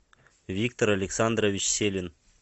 виктор александрович селин